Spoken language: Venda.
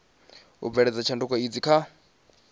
u bveledza tshanduko idzi kha